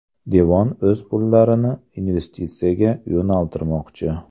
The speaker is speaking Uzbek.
Devon o‘z pullarini investitsiyaga yo‘naltirmoqchi.